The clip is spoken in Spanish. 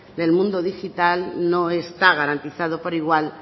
del mundo digital no está garantizado por igual